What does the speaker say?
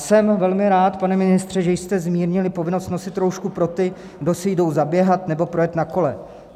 Jsem velmi rád, pane ministře, že jste zmírnili povinnost nosit roušku pro ty, kdo si jdou zaběhat nebo projet na kole.